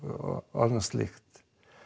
annað slíkt